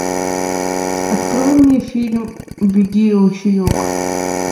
открой мне фильм беги ручеек